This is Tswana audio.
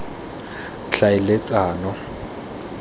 tlhaeletsano